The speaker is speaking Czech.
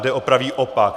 Jde o pravý opak.